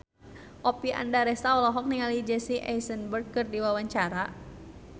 Oppie Andaresta olohok ningali Jesse Eisenberg keur diwawancara